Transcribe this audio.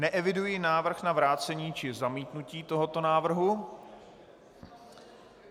Neeviduji návrh na vrácení či zamítnutí tohoto návrhu.